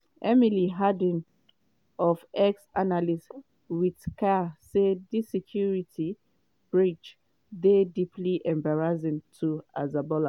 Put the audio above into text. emily harding on ex-analyst with cia say di security breach dey deeply embarrassing to hezbollah.